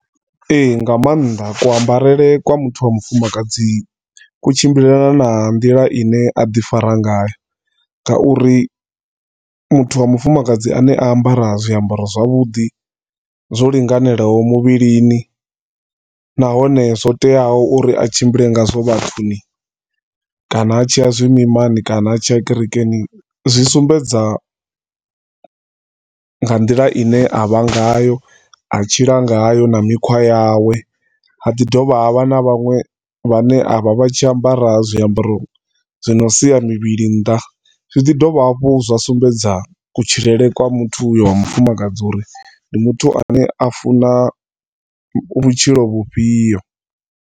E, e nga maanḓa. Uu ambarele kwa muthu wa mufumakadzi ku tshimbilelana na nḓila ine a ḓi fara ngayo ngauri muthu wa mufumakadzi ane a ambara zwiambaro zwavhuḓi zwo linganelaho muvhilini, nahone zwo teaho uri a tshimbile ngazwo vhathuni, kana a tshia zwimimani, kana a tshia kerekeni zwi sumbedza nga nḓila i ne a vha ngayo a tshila ngayo na mikhwa yawe. Ha ḓi dovha ha vha na vhaṅwe vhane a vha vha tshi ambara vha ambara zwiambaro zwi ne zwa sia muvhili nnḓa zwi ḓi dovha hafhu zwa sumbedza kutshilele kwa muthu uyo wa mufumakadzi uri ndi muthu ane a funa vhutshilo vhufhio.